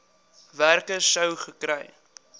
werker sou gekry